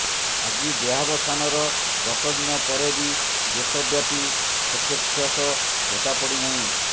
ଆଜି ଦେହାବସାନର ଦଶ ଦିନ ପରେ ବି ଦେଶବ୍ୟାପୀ ଶୋକଚ୍ଛ୍ୱାସ ଭଟ୍ଟା ପଡ଼ିନାହିଁ